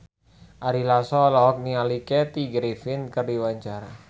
Ari Lasso olohok ningali Kathy Griffin keur diwawancara